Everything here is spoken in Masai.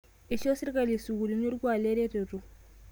Eishoo sirkali sukuulini orkuak eretoto